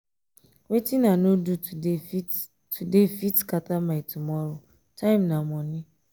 wetin i no do today fit today fit scatter my tomorrow time na monie.